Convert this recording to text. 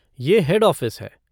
ये head office है।